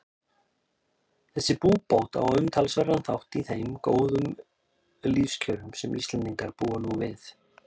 Þessi búbót á umtalsverðan þátt í þeim góðu lífskjörum sem Íslendingar búa nú við.